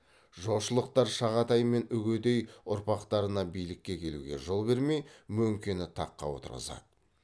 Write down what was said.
жошылықтар шағатай мен үгедей ұрпақтарына билікке келуге жол бермей мөңкені таққа отырғызады